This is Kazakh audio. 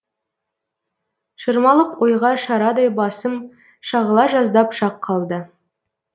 шырмалып ойға шарадай басым шағыла жаздап шақ қалды